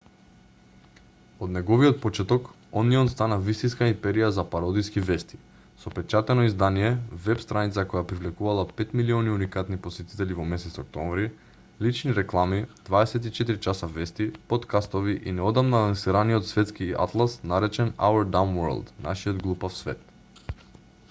од неговиот почеток онион стана вистинска империја за пародиски вести со печатено издание веб-страница која привлекувала 5.000.000 уникатни посетители во месец октомври лични реклами 24 часа вести поткастови и неодамна лансираниот светски атлас наречен our dumb world нашиот глупав свет